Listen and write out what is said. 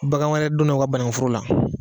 Bagan wɛrɛ donna u ka banankuforo la